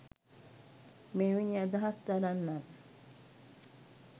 මෙවැනි අදහස් දරන්නන්